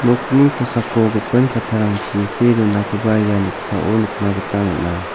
nokni kosako gipin kattarangchi see donakoba ia noksao nikna gita man·a.